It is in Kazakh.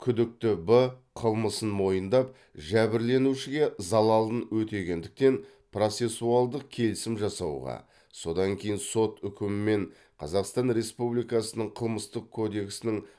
күдікті б қылмысын мойындап жәбірленушіге залалын өтегендіктен процессуалдық келісім жасауға содан кейін сот үкімімен қазақстан республикасының қылмыстық кодексінің